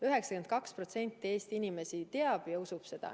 92% Eesti inimesi teab ja usub seda.